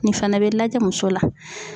Nin fana bɛ lajɛ muso la.